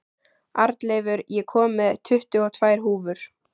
Arnleifur, ég kom með tuttugu og tvær húfur!